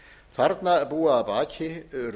þarna búa að baki